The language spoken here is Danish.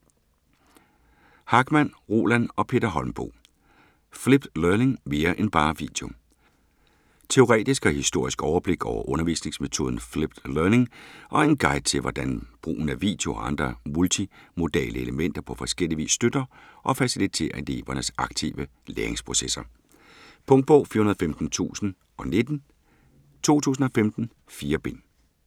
Hachmann, Roland og Peter Holmboe: Flipped learning - mere end bare video Teoretisk og historisk overblik over undervisningsmetoden Flipped Learning, og en guide til hvordan brugen af video og andre multimodale elementer på forskellig vis støtter og faciliterer elevernes aktive læringsprocesser. Punktbog 415019 2015. 4 bind.